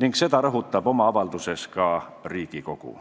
ning seda rõhutab oma avalduses ka Riigikogu.